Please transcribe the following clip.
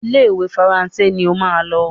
Ile-iwe Faransé ní ọ má ló.